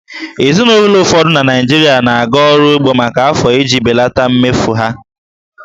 Ezinụlọ ụfọdụ na Naịjirịa na-aga ọrụ ugbo maka afọ iji belata mmefu ha